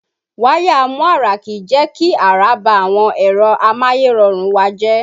Wáyà amúàrá kìí jẹ́ kí àrá bá àwọn ẹ̀rọ amáyẹ́rọrùn wa jẹ́.